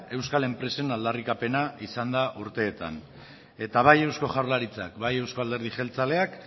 euskal enpresen aldarrikapena izan da urteetan eta bai eusko jaurlaritzak bai euzko alderdi jeltzaleak